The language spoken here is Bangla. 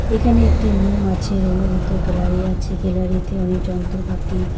এখানে একটি রুম আছে রুম -এর ভিতর গ্যালারি আছে গ্যালারি -তে অনেক যন্ত্রপাতি।